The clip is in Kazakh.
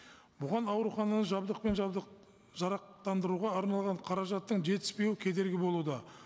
бұған аурухананы жабдықпен жарақтандыруға арналған қаражаттың жетіспеуі кедергі болуда